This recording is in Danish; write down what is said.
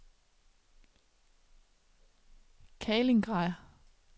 Kaliningrad